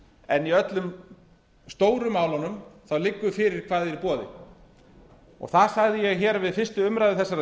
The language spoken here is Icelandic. en í öllum stóru málunum liggur fyrir hvað er í boði það sagði ég við fyrstu umræðu þessarar